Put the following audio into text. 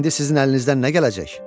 İndi sizin əlinizdən nə gələcək?